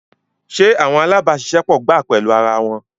Ṣe awọn alabaṣiṣẹpọ gba pẹlu ara wọn